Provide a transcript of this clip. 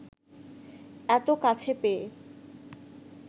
এত কাছে পেয়ে